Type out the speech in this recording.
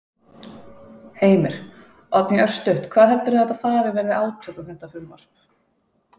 Heimir: Oddný, örstutt, hvað heldurðu að þetta fari, verði átök um þetta frumvarp?